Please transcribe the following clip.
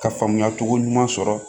Ka faamuya cogo ɲuman sɔrɔ